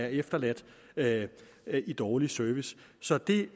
efterladt med dårlig service så det